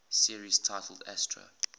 series titled astro